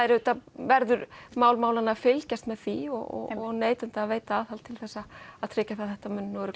verður mál málanna að fylgjast með því og neytenda að veita aðhald til að tryggja það að þetta